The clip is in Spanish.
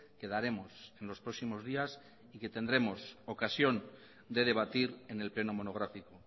que daremos en los próximos días y que tendremos ocasión de debatir en el pleno monográfico